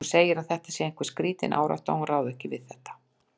Hún segir að þetta sé einhver skrítin árátta, hún ráði ekkert við þetta.